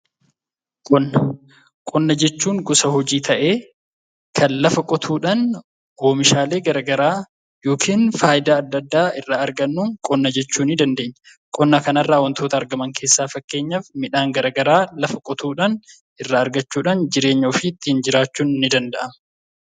Qonna. Qonna jechuun gosa hojii ta'e kan lafaa qotuudhaan oomishaalee gara garaa yookiin faayidaa adda addaa irraa argannu qonna jechuu ni dandeenya. Qonna kana keessaa wantootti argamaan fakkeenyaaf midhaan gara garaa lafaa qotuudhaan irra argachuudhaan jireenya ofii ittin jiraachuun ni danda'ama.